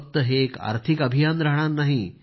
फक्त हे एक आर्थिक अभियान राहणार नाही